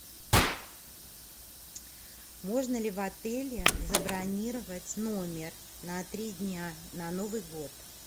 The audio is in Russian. можно ли в отеле забронировать номер на три дня на новый год